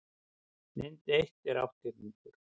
mynd eitt er átthyrningur